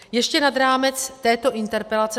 Ještě nad rámec této interpelace.